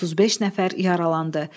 35 nəfər yaralandı.